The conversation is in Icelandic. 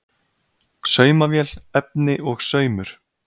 Saumavél, efni og saumur.